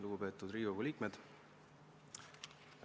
Lugupeetud Riigikogu liikmed!